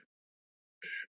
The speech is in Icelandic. Guðvarður